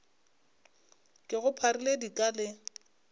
ke go pharile dika le